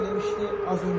Ölkədə olmuşdu.